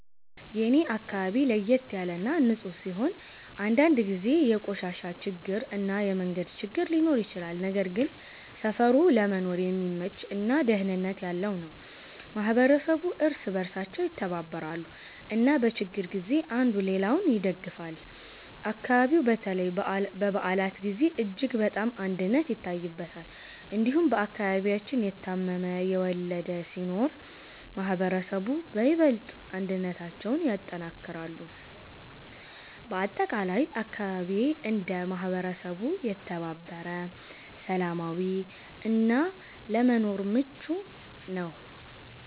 የኔ አካባቢ ለየት ያለ እና ንፁህ ሲሆን፣ አንዳንድ ጊዜ የቆሻሻ ችግር እና የመንገድ ችግር ሊኖር ይችላል። ነገር ግን ሰፈሩ ለመኖር የሚመች እና ደህንነት ያለው ነው። ማህበረሰቡ እርስ በእርሳቸው ይተባበራሉ እና በችግር ጊዜ አንዱ ሌላውን ይደግፋል። አካባቢው በተለይ በበዓላት ጊዜ እጅግ በጣም አንድነት ይታይበታል። እንዲሁም በአከባቢያችን የታመመ፣ የወለደ ሲኖር ማህበረሰቡ በይበልጥ አንድነታቸውን ያጠናክራሉ። በአጠቃላይ አካባቢዬ እንደ ማህበረሰብ የተባበረ፣ ሰላማዊ እና ለመኖር ምቹ ነው።